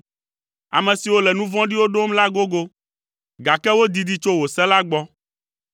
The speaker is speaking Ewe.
Ame siwo le nu vɔ̃ɖiwo ɖom la gogo, gake wodidi tso wò se la gbɔ.